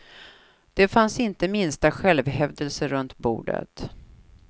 Det fanns inte minsta självhävdelse runt bordet.